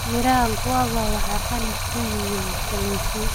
Miraha Guava waxay qani ku yihiin fitamiin C.